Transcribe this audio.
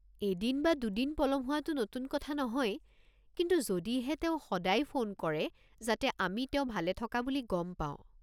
এদিন বা দুদিন পলম হোৱাটো নতুন কথা নহয়, কিন্তু যদিহে তেওঁ সদায় ফোন কৰে যাতে আমি তেওঁ ভালে থকা বুলি গম পাওঁ।